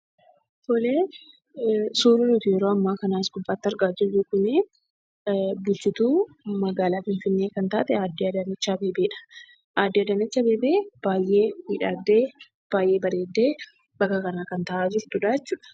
Suuraan yeroo ammaa as gubbaatti argaa jirru kun bulchituu magaalaa Finfinnee kan taate aaddee Adaanech Abeebeedha. Aaddee Adaanech Abeebee baay'ee miidhagdee baay'ee bareeddee bakka kana kan taa'aa jirtudhaa jechuudha.